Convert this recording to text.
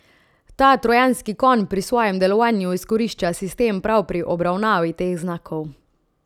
Ta trojanski konj pri svojem delovanju izkorišča sistem prav pri obravnavi teh znakov.